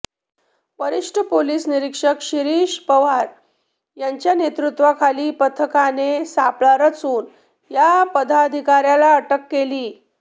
वरिष्ठ पोलीस निरिक्षक शिरिष पवार यांच्या नैतृत्वाखाली पथकाने सापळा रचून या पदाधिकाऱ्याला अटक केली